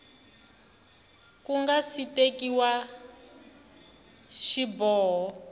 ku nga si tekiwa xiboho